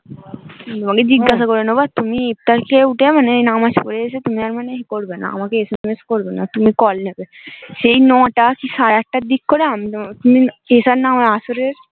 আমি জিজ্ঞাসা করে নেবো তুমি ইফতার খেয়ে উঠে মানে নামাজ পড়ে এসে আমাকে আর SMS করবে না, তুমি call নেবে সেই নটা কি সারা আটটার দিক করে